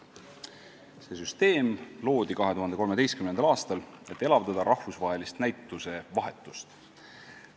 See süsteem loodi 2013. aastal, et elavdada rahvusvahelist näitusevahetust.